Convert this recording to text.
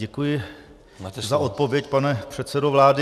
Děkuji za odpověď, pane předsedo vlády.